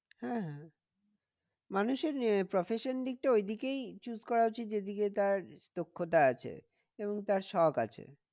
হ্যাঁ হ্যাঁ মানুষের আহ profession দিকটা ওই দিকেই choose করা উচিত যে দিকে তার দক্ষতা আছে। এবং তার শোক আছে।